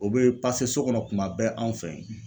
O bɛ so kɔnɔ kuma bɛɛ anw fɛ.